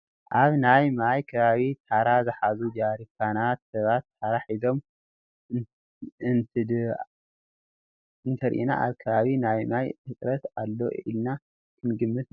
ኣብ ናይ ማይ ከባቢ ተራ ዝሓዙ ጀሪካናትን ሰባት ተራ ሒዞም እንተድኣርኢና ኣብቲ ከባቢ ናይ ማይ ህፅረት ኣሎ ኢልና ክንግምት ንኽእል ኢና፡፡